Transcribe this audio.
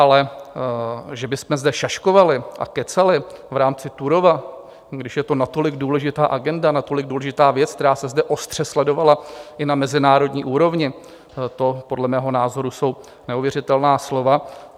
Ale že bychom zde šaškovali a kecali v rámci Turówa, když je to natolik důležitá agenda, natolik důležitá věc, která se zde ostře sledovala i na mezinárodní úrovni, to podle mého názoru jsou neuvěřitelná slova.